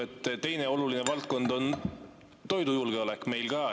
Aga teine oluline valdkond on meil ka toidujulgeolek.